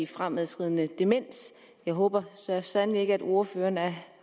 fremadskridende demens jeg håber så sandelig ikke at ordføreren er